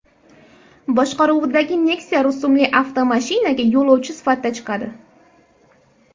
boshqaruvidagi Nexia rusumli avtomashinaga yo‘lovchi sifatida chiqadi.